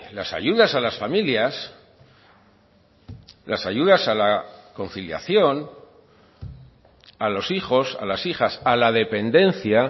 las ayudas a las familias las ayudas a la conciliación a los hijos a las hijas a la dependencia